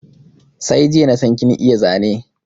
Sai jiya nasan kin iya Zane